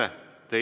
Tere!